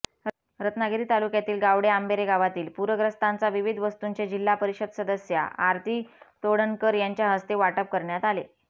रत्नागिरी तालुक्यातील गावडेआंबेरे गावातील पूरग्रस्तांचा विविध वस्तूंचे जिल्हापरिषद सदस्या आरती तोडणकर यांच्याहस्ते वाटप करण्यात आले